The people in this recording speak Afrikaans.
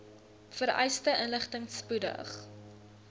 vereiste inligting spoedig